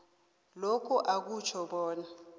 lokhu akutjho bona